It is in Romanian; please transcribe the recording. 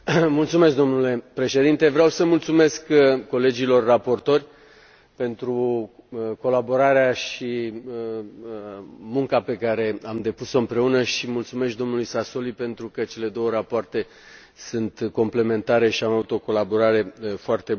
Domnule președinte, vreau să mulțumesc colegilor raportori pentru colaborarea și munca pe care am depus o împreună și mulțumesc și dlui Sassoli pentru că cele două rapoarte sunt complementare și am avut o colaborare foarte bună.